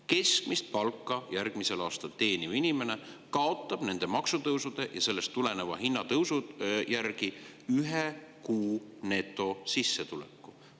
Keskmist palka teeniv inimene kaotab järgmisel aastal nende maksutõusude ja sellest tuleneva hinnatõusu tõttu ühe kuu netosissetuleku.